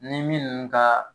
Ni minnu ka